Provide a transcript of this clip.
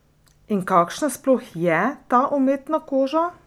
In kakšna sploh je ta umetna koža?